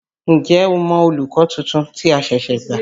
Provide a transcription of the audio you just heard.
N jẹ́ o mọ olùkọ́ tuntun tí a ṣẹ̀ṣẹ̀ gbà?